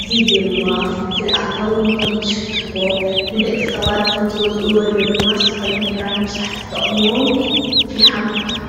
እዚ ድማ ፍልፍል ኣታዊ ንቶም ዝሸጡንደቂ ሰባት ንቶም ዝገዝኡ ድማ ንዘተፈላለዩ ነገራት ንምስራሕ ዝጠቕምዎም ፊሓም ይብሃል፡፡